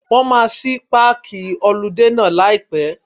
Wọ́n máa ṣí páàkì họludé náà láì pẹ́.